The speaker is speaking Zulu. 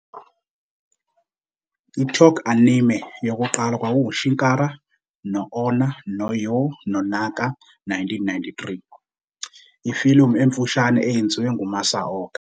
I- talkie anime "yokuqala kwakunguChikara no Onna no Yo no Naka", 1933, ifilimu emfushane eyenziwe nguMasaoka.